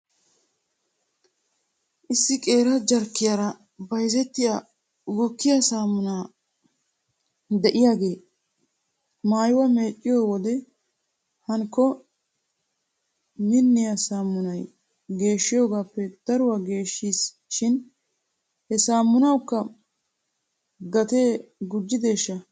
Issi qeera jarkkiyaara bayzettiyaa gukkiyaa saammuna de'iyaagee maayuwaa meecciyoo wode hankko minniyaa saamunay geeshshiyoogaappe daruwaa geeshsheesi shin he saaminawkka gatee gujjideeshsha?